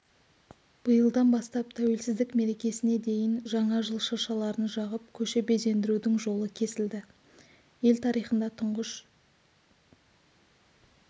биылдан бастап тәуелсіздік мерекесіне дейін жаңа жыл шыршаларын жағып көше безендірудің жолы кесілді ел тарихында тұңғыш